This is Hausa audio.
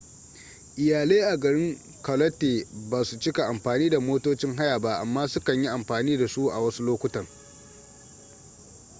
iyalai a garin charlotte ba su cika amfani da motocin haya ba amma su kan yi amfani da su a wasu lokutan